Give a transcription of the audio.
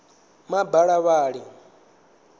mabalavhali